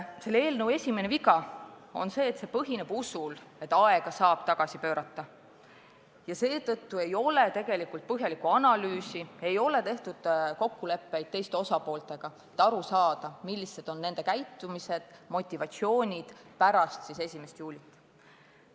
Selle eelnõu üks viga on see, et see põhineb usul, et aega saab tagasi pöörata, ja seetõttu ei ole tegelikult tehtud põhjalikku analüüsi, ei ole kokkuleppeid teiste osapooltega, et aru saada, millised on nende motivatsioonid ja sammud pärast 1. juulit.